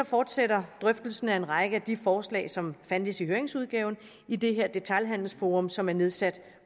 fortsætter drøftelsen af en række af de forslag som fandtes i høringsudgaven i det her detailhandelsforum som er nedsat